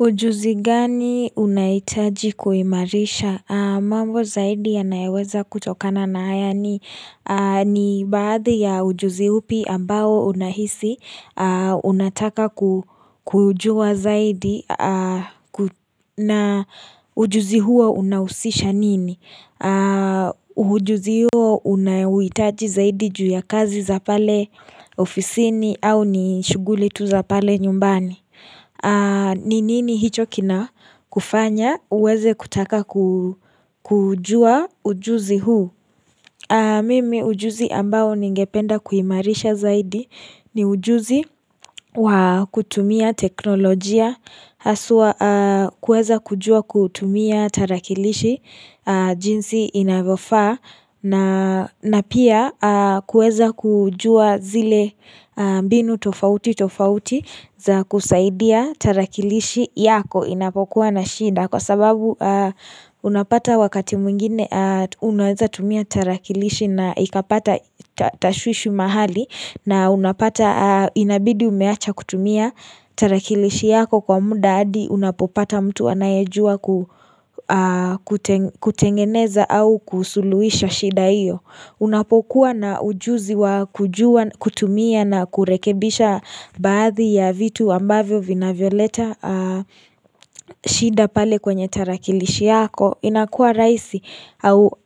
Ujuzi gani unahitaji kuimarisha? Mambo zaidi yanayeweza kutokana na haya ni baadhi ya ujuzi upi ambao unahisi, unataka kujua zaidi na ujuzi huo unahusisha nini? Ujuzi huo unaohitaji zaidi juu ya kazi za pale ofisini au ni shughuli tu za pale nyumbani? Ni nini hicho kinakufanya uweze kutaka kujua ujuzi huu Mimi ujuzi ambao ningependa kuimarisha zaidi ni ujuzi wa kutumia teknolojia Haswa kueza kujua kutumia tarakilishi jinsi inavyofaa na na pia kuweza kujua zile mbinu tofautitofauti za kusaidia tarakilishi yako inapokuwa na shida Kwa sababu unapata wakati mwingine unaweza tumia tarakilishi na ikapata tashwishi mahali na unapata inabidi umeacha kutumia tarakilishi yako kwa muda hadi unapopata mtu anayejua kutengeneza au kusuluhisha shida hiyo Unapokuwa na ujuzi wa kutumia na kurekebisha baadhi ya vitu ambavyo vinavyoleta shida pale kwenye tarakilishi yako inakua rahisi au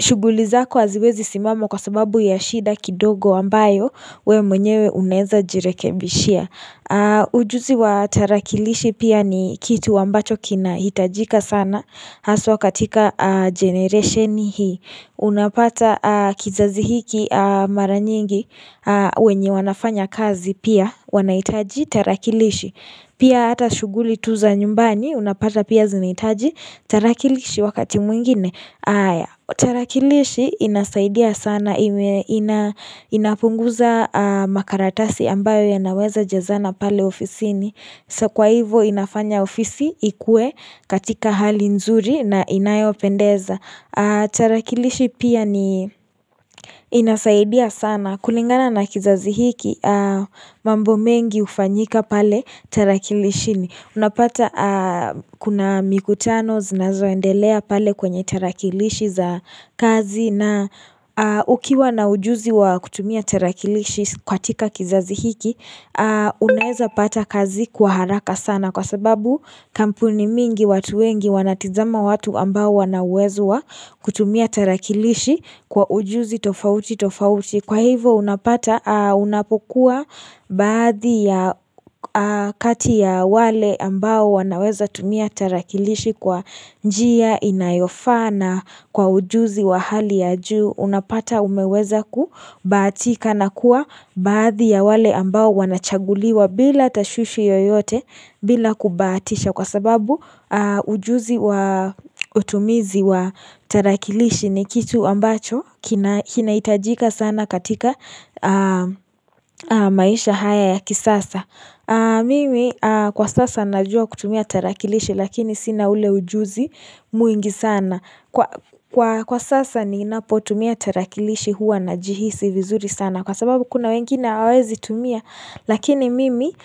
shughuli zako haziwezi simama kwa sababu ya shida kidogo ambayo wewe mwenyewe unaeza jirekebishia Ujuzi wa tarakilishi pia ni kitu ambacho kinahitajika sana Haswa katika generation hii Unapata kizazi hiki mara nyingi wenye wanafanya kazi pia wanahitaji tarakilishi Pia ata shughuli tu za nyumbani unapata pia zinahitaji tarakilishi wakati mwingine haya tarakilishi inasaidia sana inapunguza makaratasi ambayo yanaweza jazana pale ofisini So kwa hivo inafanya ofisi ikue katika hali nzuri na inayopendeza tarakilishi pia ni inasaidia sana kulingana na kizazi hiki mambo mengi hufanyika pale tarakilishini unapata kuna mikutano zinazoendelea pale kwenye tarakilishi za kazi na ukiwa na ujuzi wa kutumia tarakilishi katika kizazi hiki Unaeza pata kazi kwa haraka sana kwa sababu kampuni mingi watu wengi wanatizama watu ambao wanauwezo wa kutumia tarakilishi kwa ujuzi tofautitofauti Kwa hivyo unapokua baadhi ya kati ya wale ambao wanaweza tumia tarakilishi kwa njia inayofaa na kwa ujuzi wa hali ya juu. Unapata umeweza kubahatika na kuwa baadhi ya wale ambao wanachaguliwa bila tashwishi yoyote bila kubahatisha. Kwa sababu ujuzi wa utumizi wa tarakilishi ni kitu ambacho kinahitajika sana katika maisha haya ya kisasa Mimi kwa sasa najua kutumia tarakilishi lakini sina ule ujuzi mwingi sana Kwa sasa ninapotumia tarakilishi huwa najihisi vizuri sana Kwa sababu kuna wengine hawaezi tumia lakini mimi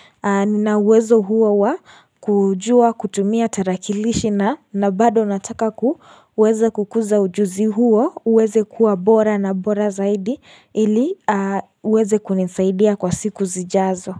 ninauwezo huo wa kujuwa kutumia tarakilishi na bado nataka kuwezekukuza ujuzi huo uweze kuwa bora na bora zaidi ili uweze kunisaidia kwa siku zijazo.